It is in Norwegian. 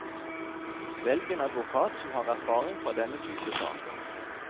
Velg en advokat som har erfaring fra denne type saker.